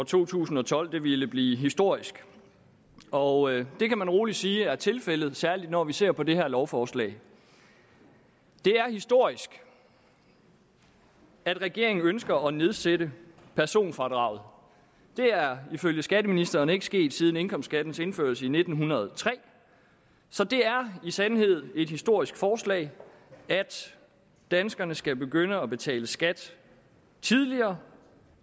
to tusind og tolv ville blive historisk og det kan man roligt sige er blevet tilfældet særlig når vi ser på det her lovforslag det er historisk at regeringen ønsker at nedsætte personfradraget det er ifølge skatteministeren ikke sket siden indkomstskattens indførelse i nitten hundrede og tre så det er i sandhed et historisk forslag at danskerne skal begynde at betale skat tidligere